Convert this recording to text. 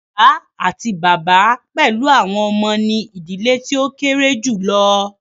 Ìyá àti bàbá pẹlú àwọn ọmọ ní ìdílé tí o kéré julọ.